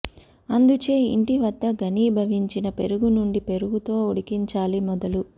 అందుచే ఇంటి వద్ద ఘనీభవించిన పెరుగు నుండి పెరుగుతో ఉడికించాలి మొదలు